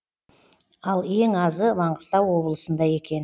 ал ең азы маңғыстау облысында екен